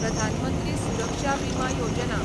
प्रधान मंत्री सुरक्षा बिमा योजना